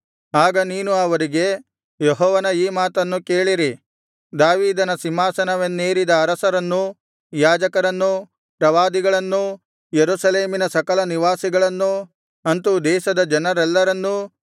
ಆಗ ನೀನು ಅವರಿಗೆ ಯೆಹೋವನ ಈ ಮಾತನ್ನು ಕೇಳಿರಿ ದಾವೀದನ ಸಿಂಹಾಸನವನ್ನೇರಿದ ಅರಸರನ್ನೂ ಯಾಜಕರನ್ನೂ ಪ್ರವಾದಿಗಳನ್ನೂ ಯೆರೂಸಲೇಮಿನ ಸಕಲ ನಿವಾಸಿಗಳನ್ನೂ ಅಂತು ದೇಶದ ಜನರೆಲ್ಲರನ್ನೂ